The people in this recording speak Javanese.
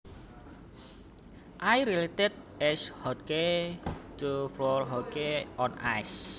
I related ice hockey to floor hockey on ice